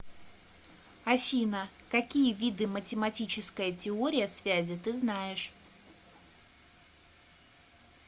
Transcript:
афина какие виды математическая теория связи ты знаешь